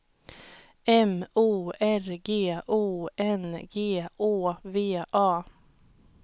M O R G O N G Å V A